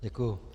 Děkuji.